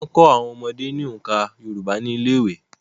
Wọ́n máa ń kọ́ àwọn ọmọdé ní oǹkà Yorùbá ní ilé ìwé.